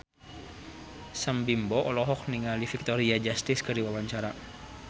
Sam Bimbo olohok ningali Victoria Justice keur diwawancara